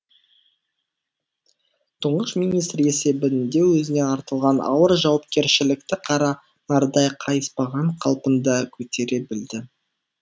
тұңғыш министр есебінде өзіне артылған ауыр жауапкершілікті қара нардай қайыспаған қалпында көтере білді